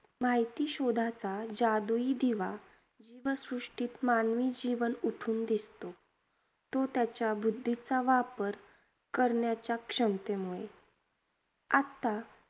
माहिती शोधाचा जादुई दिवा व सृष्टीत मानवी जीवन उठून दिसतो, तो त्याच्या बुद्धीचा वापर करण्याच्या क्षमतेमुळे. आत्ता